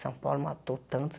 São Paulo matou tantos.